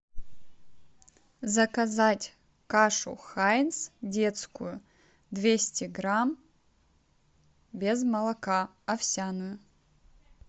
заказать кашу хайнс детскую двести грамм без молока овсяную